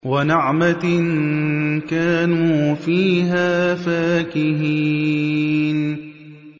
وَنَعْمَةٍ كَانُوا فِيهَا فَاكِهِينَ